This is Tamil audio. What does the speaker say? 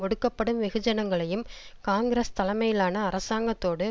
ஒடுக்கப்படும் வெகுஜனங்களையும் காங்கிரஸ் தலைமையிலான அரசாங்கத்தோடு